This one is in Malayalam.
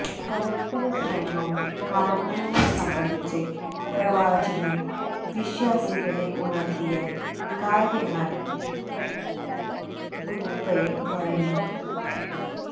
പരസ്പര സ്നേഹവും കാരണ്യവും സംബന്ധിച്ച് പ്രവാചകന് വിശ്വാസികളെ ഉണര്ത്തിയ കാര്യങ്ങള് ഖുതുബയില് മുഴങ്ങി